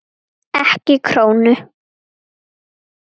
Ekki krónu!